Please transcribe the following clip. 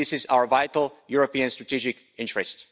This is our vital European strategic interest.